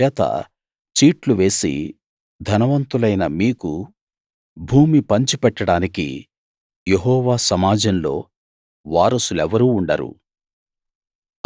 అందుచేత చీట్లు వేసి ధనవంతులైన మీకు భూమి పంచిపెట్టడానికి యెహోవా సమాజంలో వారసులెవరూ ఉండరు